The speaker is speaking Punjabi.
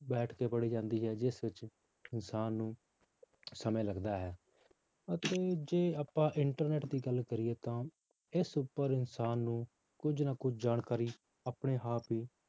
ਬੈਠਕੇ ਪੜ੍ਹੀ ਜਾਂਦੀ ਹੈ ਜਿਸ ਵਿੱਚ ਇਨਸਾਨ ਨੂੰ ਸਮੇਂ ਲੱਗਦਾ ਹੈ ਅਤੇ ਜੇ ਆਪਾਂ internet ਦੀ ਗੱਲ ਕਰੀਏ ਤਾਂ ਇਸ ਉੱਪਰ ਇਨਸਾਨ ਨੂੰ ਕੁੱਝ ਨਾ ਕੁੱਝ ਜਾਣਕਾਰੀ ਆਪਣੇ ਆਪ ਹੀ